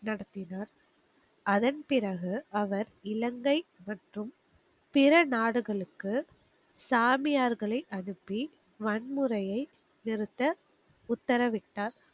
நடத்தினார். அதன் பிறகு, அவர் இலங்கை மற்றும் பிற நாடுகளுக்கு, சாமியார்களை அனுப்பி, வன்முறையை நிறுத்த உத்தரவிட்டார்.